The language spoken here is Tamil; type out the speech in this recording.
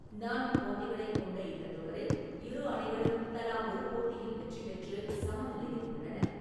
நான்கு போட்டிகளைக் கொண்ட இந்த தொடரில் இரு அணிகளும் தலா ஒரு போட்டியில் வெற்றிபெற்று சமநிலையில் உள்ளன.